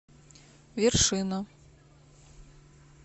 вершина